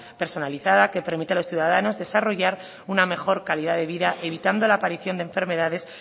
personalizada que permite a los ciudadanos desarrollar una mejor calidad de vida evitando la aparición de enfermedades